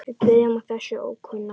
Við byrjum á þessum ókunna.